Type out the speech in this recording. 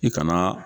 I kana